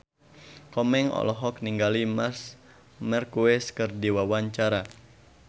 Komeng olohok ningali Marc Marquez keur diwawancara